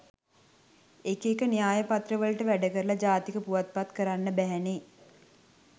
එක එක න්‍යායපත්‍රවලට වැඩකරලා ජාතික පුවත් පත් කරන්න බැහැනේ?